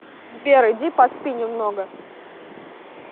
сбер иди поспи немного